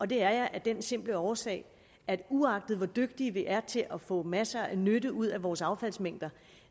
det er jeg af den simple årsag at uagtet hvor dygtige vi er til at få masser af nytte ud af vores affaldsmængder